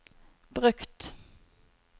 brukt